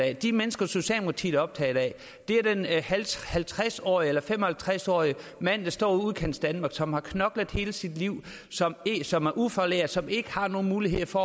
af de mennesker socialdemokratiet er optaget af er den halvtreds halvtreds årige eller fem og halvtreds årige mand der står i udkantsdanmark som har knoklet hele sit liv som er ufaglært og som ikke har nogen muligheder for